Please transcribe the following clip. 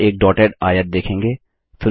आप एक डॉटेड आयत देखेंगे